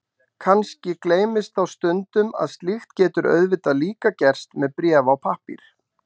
Kannski gleymist þá stundum að slíkt getur auðvitað líka gerst með bréf á pappír.